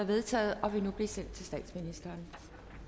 vedtaget og vil nu blive sendt til statsministeren